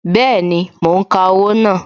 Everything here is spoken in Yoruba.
Bẹẹni, mo ń ka owó náà